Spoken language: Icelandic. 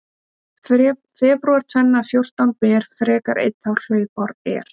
Febrúar tvenna fjórtán ber frekar einn þá hlaupár er.